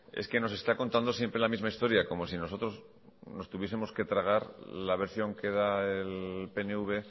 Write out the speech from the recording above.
es que nos está contando siempre la misma historia como si nosotros nos tuviesemos que tragar la versión que da el pnv